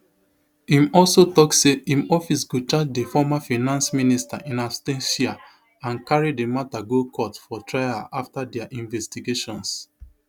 im also tok say im office go charge di former finance minister in absentia and carry di mata go court for trial afta dia investigations